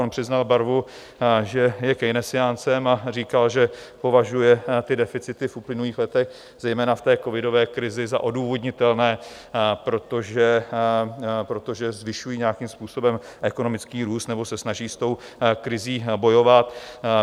On přiznal barvu, že je keynesiáncem, a říkal, že považuje ty deficity v uplynulých letech, zejména v té covidové krizi, za odůvodnitelné, protože zvyšují nějakým způsobem ekonomický růst nebo se snaží s tou krizí bojovat.